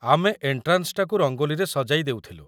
ଆମେ ଏଣ୍ଟ୍ରାନ୍ସଟାକୁ ରଙ୍ଗୋଲିରେ ସଜାଇ ଦେଉଥିଲୁ ।